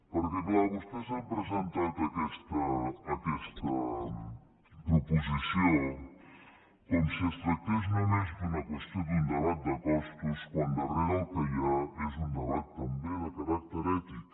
perquè clar vostès han presentat aquesta proposició com si es tractés només d’una qüestió d’un debat de costos quan al darrere el que hi ha és un debat també de caràcter ètic